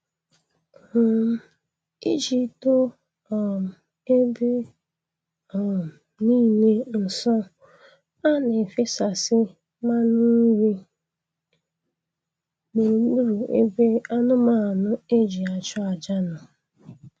um Iji doo um ebe um niile nsọ, a na-efesasị mmanụ nri gburugburu ebe anụmanụ e ji achụ aja nọ